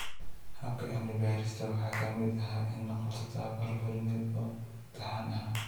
Habka cilmi-baadhista waxa ka mid ahaa in la qabto tabobarro fulineed oo taxane ah.